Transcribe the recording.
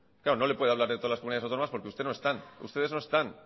claro no le puede hablar de todas las comunidades autónomas porque usted no está ustedes no están